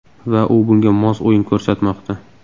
Va u bunga mos o‘yin ko‘rsatmoqda.